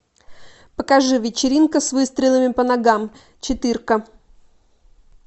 покажи вечеринка с выстрелами по ногам четырка